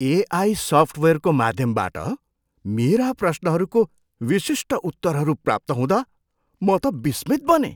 AI सफ्टवेयरको माध्यमबाट मेरा प्रश्नहरूको विशिष्ट उत्तरहरू प्राप्त हुँदा म त विस्मित बनेँ।